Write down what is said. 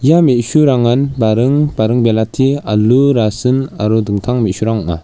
ia me·surangan baring baring belati alu rasin aro dingtang me·surang ong·a.